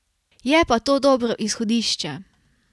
Je pa to dobro izhodišče.